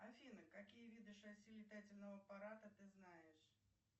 афина какие виды шасси летательного аппарата ты знаешь